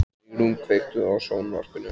Sigrún, kveiktu á sjónvarpinu.